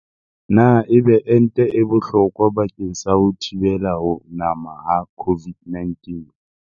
Na ebe ente e bohlokwa bakeng sa ho thibela ho nama ha COVID-19?